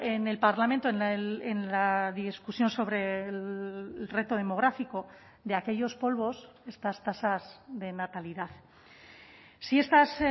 en el parlamento en la discusión sobre el reto demográfico de aquellos polvos estas tasas de natalidad si estas